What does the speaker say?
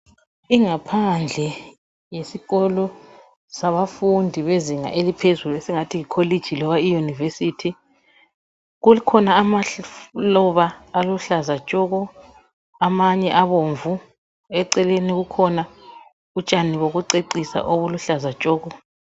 Ingaphandle yesikolo sabafundi bezinga eliphezulu esingathi yi kholeji loba iyunivesithi kukhona amaluba aluhlaza tshoko amanye abomvu eceleni kukhona utshani bokucecisa obuluhlaza tshoko